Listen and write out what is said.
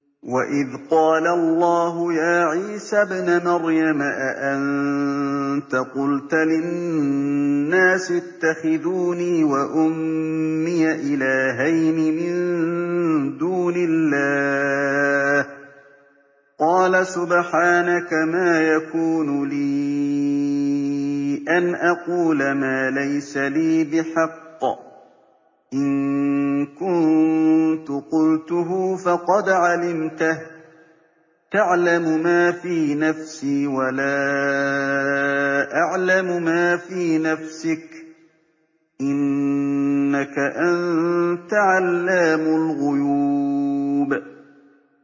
وَإِذْ قَالَ اللَّهُ يَا عِيسَى ابْنَ مَرْيَمَ أَأَنتَ قُلْتَ لِلنَّاسِ اتَّخِذُونِي وَأُمِّيَ إِلَٰهَيْنِ مِن دُونِ اللَّهِ ۖ قَالَ سُبْحَانَكَ مَا يَكُونُ لِي أَنْ أَقُولَ مَا لَيْسَ لِي بِحَقٍّ ۚ إِن كُنتُ قُلْتُهُ فَقَدْ عَلِمْتَهُ ۚ تَعْلَمُ مَا فِي نَفْسِي وَلَا أَعْلَمُ مَا فِي نَفْسِكَ ۚ إِنَّكَ أَنتَ عَلَّامُ الْغُيُوبِ